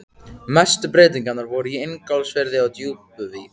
Mestu breytingarnar voru í Ingólfsfirði og Djúpuvík.